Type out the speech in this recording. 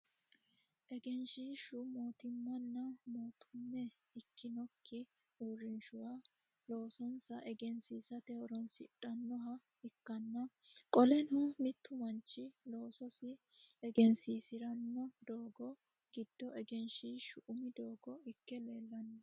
Egenshiishu mootimmanna mootumme ikitinokki uurinshuwa loosonsa egensiisate horoonsidhanoha ikanna qoleno mittu manchi loososi egensiisirano doogo gido egenshiishu umi doogo Ike leelano.